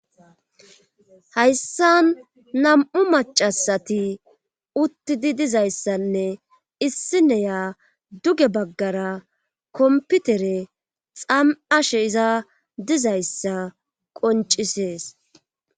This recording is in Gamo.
hayssan nam'u macasati uttidi dizayssanne issineya duge baggara komputere xam'ashe iza dizayssa qoncisees